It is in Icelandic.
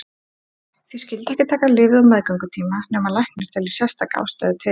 Því skyldi ekki taka lyfið á meðgöngutíma nema læknir telji sérstaka ástæðu til.